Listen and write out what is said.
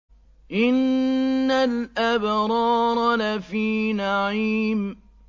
إِنَّ الْأَبْرَارَ لَفِي نَعِيمٍ